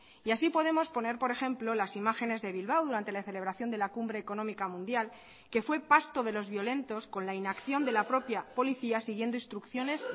y así podemos poner por ejemplo las imágenes de bilbao durante la celebración de la cumbre económica mundial que fue pasto de los violentos con la inacción de la propia policía siguiendo instrucciones